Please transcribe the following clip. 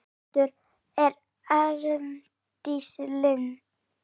Prestur er Arndís Linn.